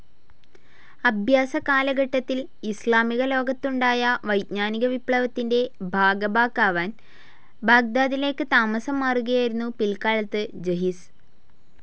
അഭ്യാസ കാലഘട്ടത്തിൽ ഇസ്ലാമിക ലോകത്തുണ്ടായ വൈജ്ഞാനിക വിപ്ലവത്തിൻ്റെ ഭാഗഭാക്കാവാൻ ബാഗ്ദാദിലേക്ക് താമസം മാറുകയായിരുന്നു പിൽക്കാലത്ത് ജഹിസ്.